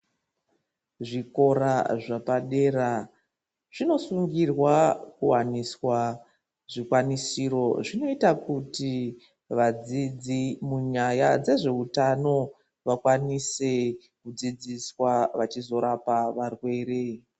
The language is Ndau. Zvikora zvepadera zvinosungirwa kuwaniswa zvikwanisiro zvinoita kuti vadzidzi munyaya dzezve utano vakwanise kudzidziswa vachizorapa varwere.